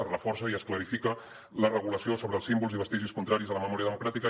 es reforça i es clarifica la regulació sobre els símbols i vestigis contraris a la memòria democràtica